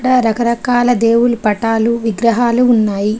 రకరకాల దేవుళ్ళు పటాలు విగ్రహాలు ఉన్నాయి.